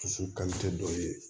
Dusu dɔ ye